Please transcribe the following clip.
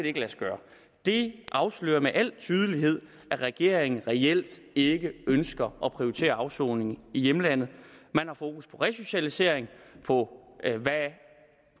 ikke lade sig gøre det afslører med al tydelighed at regeringen reelt ikke ønsker at prioritere afsoning i hjemlandet man har fokus på resocialisering og på hvad